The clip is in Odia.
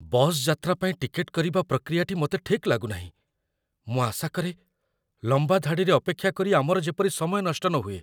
ବସ୍ ଯାତ୍ରା ପାଇଁ ଟିକେଟ୍‌ କରିବା ପ୍ରକ୍ରିୟାଟି ମୋତେ ଠିକ୍ ଲାଗୁନାହିଁ, ମୁଁ ଆଶା କରେ, ଲମ୍ବା ଧାଡ଼ିରେ ଅପେକ୍ଷା କରି ଆମର ଯେପରି ସମୟ ନଷ୍ଟ ନହୁଏ।